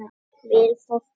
Vill fólk út á land